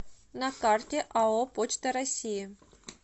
на карте ао почта россии